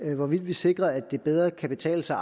hvorvidt vi sikrer at det bedre kan betale sig